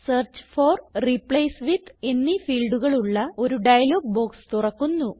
search for replace with എന്നീ ഫീൽഡുകൾ ഉള്ള ഒരു ഡയലോഗ് ബോക്സ് തുറക്കുന്നു